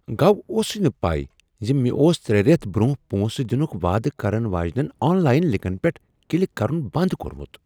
گو اوسُے نہ پے ز مےٚ اوس ترٛے ریتھ برٛۄنٛہہ پونٛسہٕ دنک وعدٕ کرن واجنین آن لاین لنکن پیٹھ کلک کرن بنٛد کوٚرمت۔